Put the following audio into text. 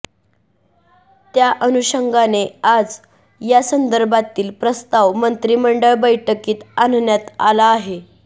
त्या अनुषंगाने आज यासंदर्भातील प्रस्ताव मंत्रिमंडळ बैठकीत आणण्यात आला आहे